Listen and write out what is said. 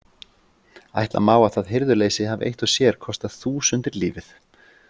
Ætla má að það hirðuleysi hafi eitt og sér kostað þúsundir lífið.